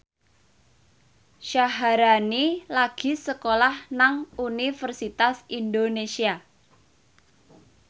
Syaharani lagi sekolah nang Universitas Indonesia